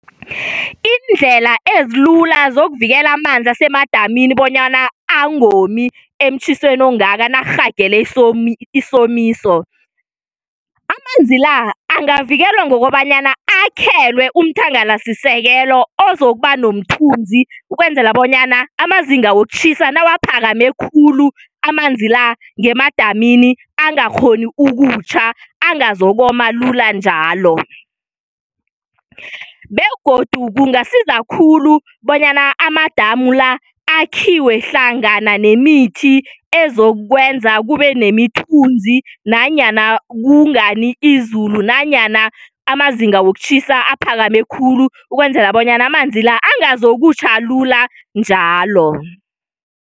Iindlela ezilula zokuvikela amanzi asemadamini bonyana angomi emtjhisweni ongaka nakurhagele isomiso. Amanzi la angavikelwa ngokobanyana akhelwe umthangalasisekelo ozokuba nomthunzi ukwenzela bonyana amazinga wokutjhisa nakaphakame khulu amanzi la ngemadamini angakghoni ukutjha angazokoma lula njalo. Begodu kungasiza khulu bonyana amadamu la akhiwe hlangana nemithi ezokwenza kube nemithunzi nanyana kungani izulu nanyana amazinga wokutjhisa aphakame khulu ukwenzela bonyana amanzi la angazokutjha lula njalo.